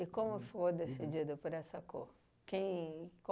E como foi decidido por essa cor? Quem